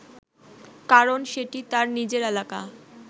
কারণ সেটি তার নিজের এলাকা